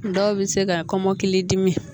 Dɔw bɛ se ka kɔmɔkili dimi